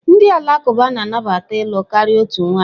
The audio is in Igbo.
Ndị Alakụba na-anabata ịlụ karịa otu nwanyị.